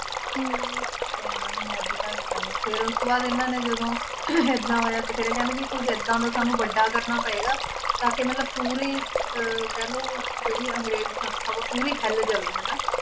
ਤੇ ਇਹਨਾਂ ਨੂੰ ਮੌਤ ਦੇ ਘਾਟ ਉਤਾਰਿਆ ਫੇਰ ਉਸ ਤੋਂ ਬਾਅਦ ਇਹਨਾਂ ਨੇ ਜਦੋਂ ਇੰਨਾ ਹੋਇਆ ਤੇ ਫਿਰ ਇਹ ਕਹਿੰਦੇ ਵੀ ਕੁੱਝ ਏਦਾਂ ਸਾਨੂੰ ਵੱਡਾ ਕਰਨਾ ਪਏਗਾ, ਤਾਂ ਕਿ ਮਤਲਬ ਪੂਰੀ ਅਹ ਕਹਿ ਲਓ ਜਿਹੜੀ ਅੰਗਰੇਜ ਸੰਸਥਾ ਵਾ ਪੂਰੀ ਹਿੱਲ ਜਾਵੇ ਹਨਾ